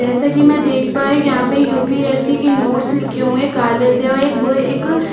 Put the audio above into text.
जैसे कि मैं देख पा रही हूँ यहाँ पे यूपीएससी की नोट्स लिखे है काले से एक ब एक --